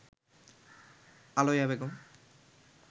Aliya Begum